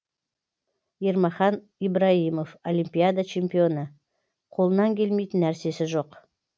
ермахан ибраимов олимпиада чемпионы қолынан келмейтін нәрсесі жоқ